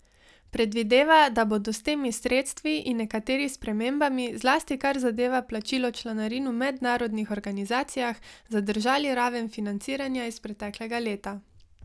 Predvideva, da bodo s temi sredstvi in nekateri spremembami, zlasti kar zadeva plačilo članarin v mednarodnih organizacijah, zadržali raven financiranja iz preteklega leta.